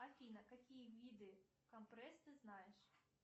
афина какие виды компресс ты знаешь